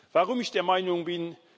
Warum ich der Meinung bin?